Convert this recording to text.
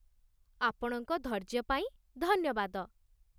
ଆପଣଙ୍କ ଧୈର୍ଯ୍ୟ ପାଇଁ, ଧନ୍ୟବାଦ ।